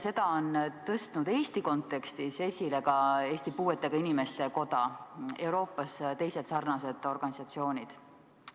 Seda on tõstnud Eesti kontekstis esile ka Eesti Puuetega Inimeste Koda, Euroopas teised sarnased organisatsioonid.